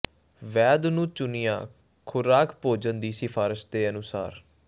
ਵੈਦ ਨੂੰ ਚੁਣਿਆ ਖੁਰਾਕ ਭੋਜਨ ਦੀ ਸਿਫਾਰਸ਼ ਦੇ ਅਨੁਸਾਰ